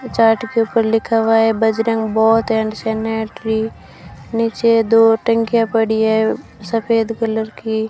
Chart के ऊपर लिखा हुआ है बजरंग बोथ एंड सेनेटरी नीचे दो टंकिया पड़ी है सफेद कलर की।